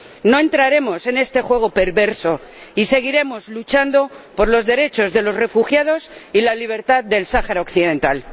No entraremos en este juego perverso y seguiremos luchando por los derechos de los refugiados y la libertad del Sáhara Occidental.